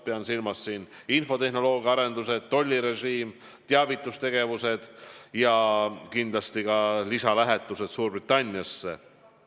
Pean silmas infotehnoloogia arendusi, tollirežiimi, teavitustegevusi ja kindlasti ka lisalähetusi Suurbritanniasse.